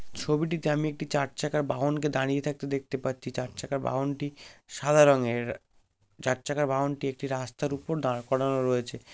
ছবিটিতে আমি একটি চার চাকার বাহনকে দাঁড়িয়ে থাকতে দেখতে পাচ্ছি | চার চাকার বাহনটি সাদা রঙের | চার চাকার বাহনটি একটি রাস্তার উপর দাঁড় করানো রয়েছে।